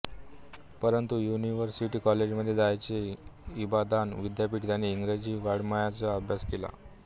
परंतु युनिव्हर्सिटी कॉलेजमध्ये आताचे इबादान विद्यापीठ त्यांनी इंग्रजी वाडःमयाचा अभ्यास केला